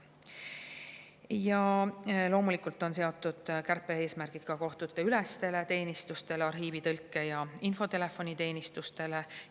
Ja loomulikult on seatud kärpe-eesmärgid ka kohtuteülestele teenistustele, arhiivi-, tõlke- ja infotelefoniteenistustele.